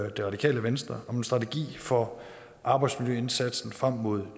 og det radikale venstre om en strategi for arbejdsmiljøindsatsen frem mod